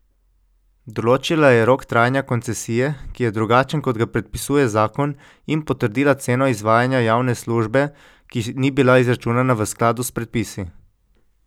Določila je rok trajanja koncesije, ki je drugačen kot ga predpisuje zakon, in potrdila ceno izvajanja javne službe, ki ni bila izračunana v skladu s predpisi.